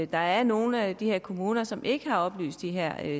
der er nogle af de her kommuner som ikke har oplyst de her